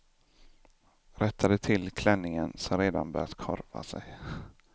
Rättade till klänningen som redan börjat korva sig.